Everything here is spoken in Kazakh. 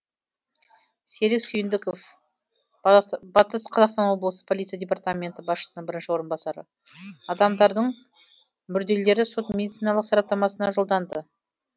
серік сүйіндіков батыс қазақстан облысы полиция департаменті басшысының бірінші орынбасары адамдардың мүрделері сот медициналық сараптамасына жолданды